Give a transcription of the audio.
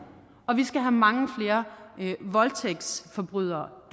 og vi skal have mange flere voldtægtsforbrydere